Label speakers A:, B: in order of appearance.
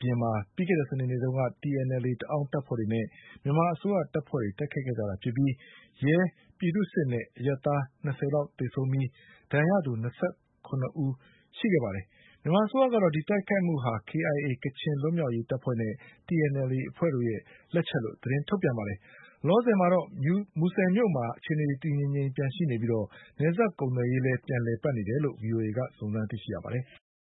A: ပြင်မှာ ပြီးခဲ့တဲ့စနေနေ့က TNLA တအောင်းတပ်ဖွဲ့တွေနဲ့ မြန်မာ အစိုးရတပ်တွေ တိုက်ခိုက်ခဲ့ကြတာဖြစ်ပြီး ရဲ၊ပြည်သူ့စစ်နဲ့အရပ်သား၂၀လောက်သေဆုံးခဲ့ရပြီး၂၇ဦး ဒဏ်ရာရခဲ့ပါတယ်။ မြန်မာအစိုးရကတော့ ဒီတိုက်ခိုက်မှုဟာ KIA ကချင်လွတ်လပ်ရေးအဖွဲ့နဲ့ TNLA အဖွဲ့တို့ရဲ့လက်ချက်လို့ သတင်းထုတ် ပြန်ပါတယ်။ လောလောဆယ်မှာတော့ မူဆယ်မြို့မှာ အခြေအနေတွေတည်တည်ငြိမ်ငြိမ်ရှိနေပြီး နယ်စပ်ကုန်သွယ်ရေး လည်း ပြန်လည်ပတ်နေတယ်လို့ ဗွီအိုအေကစုံစမ်းသိရှိရပါတယ်။